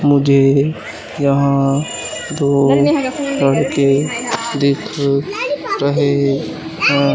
मुझे यहां दो लड़के दिख रहे है।